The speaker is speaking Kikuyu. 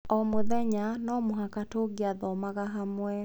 O mũthenya no mũhaka tũngĩathomaga hamwe.